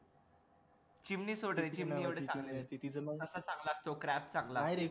चिमणी सोड रे ससा चांगला असतो crab चांगला असतो